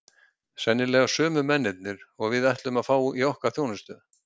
Sennilega sömu mennirnir og við ætluðum að fá í okkar þjónustu!